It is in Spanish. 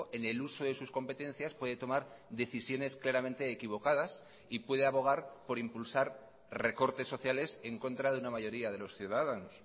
en el uso de sus competencias puede tomar decisiones claramente equivocadas y puede abogar por impulsar recortes sociales en contra de una mayoría de los ciudadanos